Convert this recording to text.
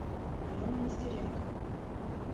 алена нестеренко